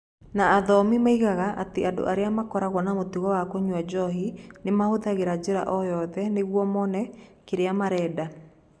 Na athomi moigaga atĩ andũ arĩa makoragwo na mũtugo wa kũnyua njohi nĩ mahũthagĩra njĩra o yothe nĩguo mone kĩrĩa marenda.